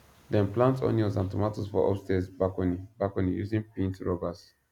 dem plant onions and tomatoes for upstairs balcony balcony using paint rubbers